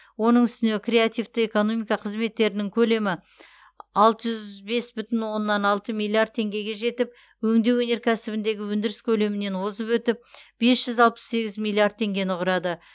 оның үстіне креативті экономика қызметтерінің көлемі алты жүз бес бүтін оннан алты миллиард теңгеге жетіп өңдеу өнеркәсібіндегі өндіріс көлемінен озып өтіп бес жүз алпыс сегіз миллиард теңгені құрады